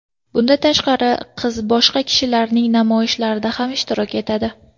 Bundan tashqari, qiz boshqa kishilarning namoyishlarida ham ishtirok etadi.